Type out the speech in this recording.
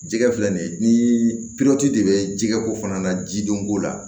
Jɛgɛ filɛ nin ye ni de bɛ jɛgɛ ko fana na jidɔnko la